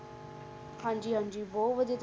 ਹਾਂਜੀ ਹਾਂਜੀ ਬਹੁਤ ਵਧੀਆ